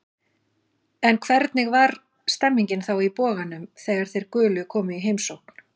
En hvernig var stemmningin þá í Boganum þegar þeir gulu komu í heimsókn?